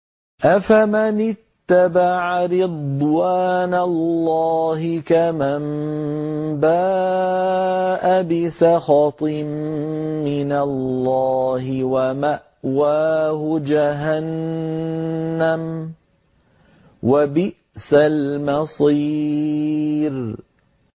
أَفَمَنِ اتَّبَعَ رِضْوَانَ اللَّهِ كَمَن بَاءَ بِسَخَطٍ مِّنَ اللَّهِ وَمَأْوَاهُ جَهَنَّمُ ۚ وَبِئْسَ الْمَصِيرُ